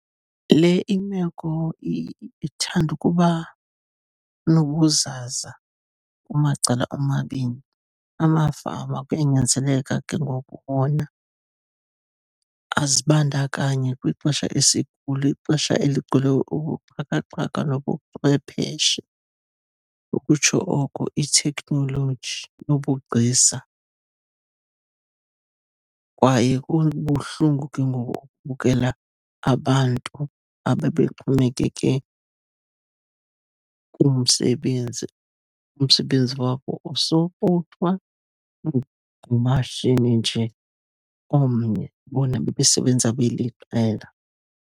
Le imeko ithande ukuba nobuzaza kumacala omabini. Amafama kuyanyanzeleka ke ngoku wona azibandakanye kwixesha esikulo, ixesha eligcwele ubuxhakaxhaka nobuchwepheshe, ukutsho oko iteknoloji nobugcisa. Kwaye kubuhlungu ke ngoku ukubukela abantu ababexhomekeke kumsebenzi, umsebenzi wabo osapotwa ngumashini nje omnye, bona bebesebenza beliqela.